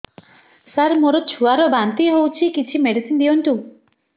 ସାର ମୋର ଛୁଆ ର ବାନ୍ତି ହଉଚି କିଛି ମେଡିସିନ ଦିଅନ୍ତୁ